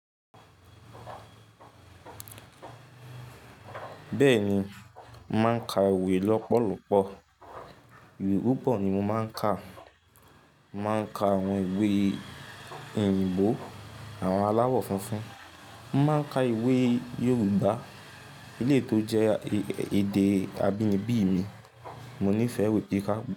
Bẹ́ẹ̀ni, máa ń ka ìwé lọ́pọ̀lọpọ̀. Iwe pupo ni mo máa ń ka. Mo máa ń ka àwọn ìwé òyìnbó àwọn aláwọ̀ funfun. Mo máa ń ka ìwé Yorùbá eleyi to jẹ́ èdè abínibí mi. Mo nífẹ̀ẹ́ iwè kika.